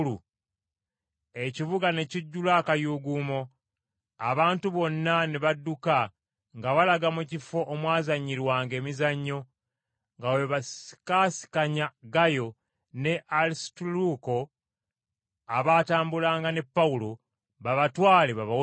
Ekibuga ne kijjula akayuuguumo, abantu bonna ne badduka nga balaga mu kifo omwazanyirwanga emizannyo nga bwe basikaasikanya Gayo ne Alisutaluuko, abaatambulanga ne Pawulo, babatwale babawozese.